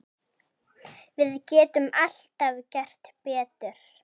Við getum alltaf gert betur.